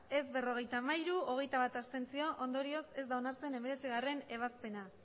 ez berrogeita hamairu abstentzioak hogeita bat ondorioz ez da onartzen hemeretzigarrena